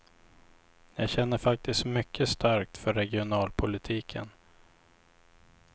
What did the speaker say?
Jag känner faktiskt mycket starkt för regionalpolitiken.